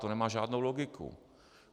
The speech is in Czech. To nemá žádnou logiku.